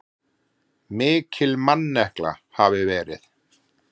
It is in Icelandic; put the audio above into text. Mikil mannekla hafi verið.